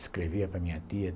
Escrevia para minha tia.